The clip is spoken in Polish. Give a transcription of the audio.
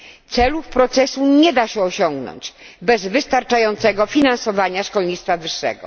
Celów procesu nie da się osiągnąć bez wystarczającego finansowania szkolnictwa wyższego.